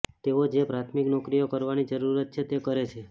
તેઓ જે પ્રાથમિક નોકરીઓ કરવાની જરૂર છે તે કરે છે